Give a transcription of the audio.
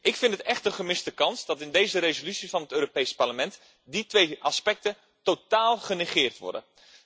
Ik vind het echt een gemiste kans dat in deze resolutie van het Europees Parlement die twee aspecten totaal genegeerd worden.